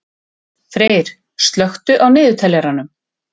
Freyr, slökktu á niðurteljaranum.